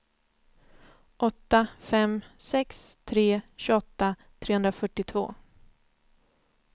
åtta fem sex tre tjugoåtta trehundrafyrtiotvå